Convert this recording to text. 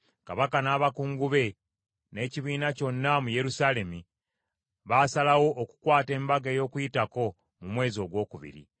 Kabaka n’abakungu be, n’ekibiina kyonna mu Yerusaalemi baasalawo okukwata Embaga ey’Okuyitako mu mwezi ogwokubiri;